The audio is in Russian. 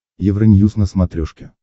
евроньюз на смотрешке